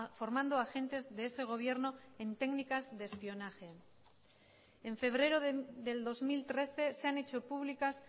formando agentes de ese gobierno en técnicas de espionaje en febrero del dos mil trece se han hecho públicas